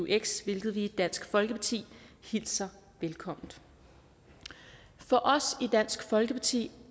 eux hvilket vi i dansk folkeparti hilser velkommen for os i dansk folkeparti